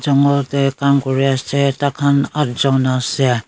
jungla dae kam kuri ase thakan aath jun ase.